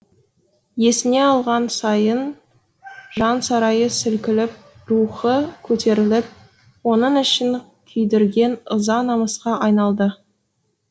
есіне алған сайын жан сарайы сілкініп рухы көтеріліп оның ішін күйдірген ыза намысқа айналды